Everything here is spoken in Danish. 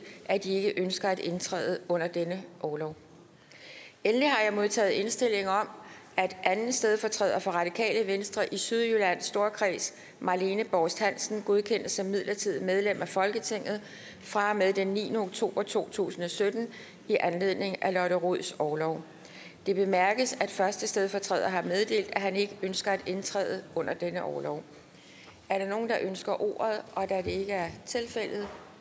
at de ikke ønsker at indtræde under denne orlov endelig har jeg modtaget indstilling om at anden stedfortræder for radikale venstre i sydjyllands storkreds marlene borst hansen godkendes som midlertidigt medlem af folketinget fra og med den niende oktober to tusind og sytten i anledning af lotte rods orlov det bemærkes at første stedfortræder har meddelt at han ikke ønsker at indtræde under denne orlov er der nogen der ønsker ordet da det ikke er tilfældet